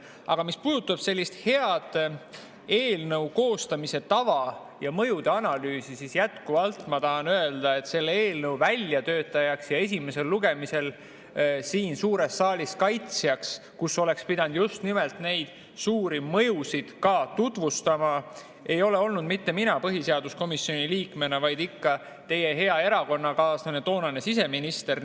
Aga mis puudutab eelnõu koostamise head tava ja mõjude analüüsi, siis jätkuvalt ma tahan öelda, et selle eelnõu väljatöötajaks ja kaitsjaks esimesel lugemisel suures saalis, kus oleks pidanud just nimelt neid suuri mõjusid ka tutvustama, ei ole olnud mitte mina põhiseaduskomisjoni liikmena, vaid ikka teie hea erakonnakaaslane, toonane siseminister.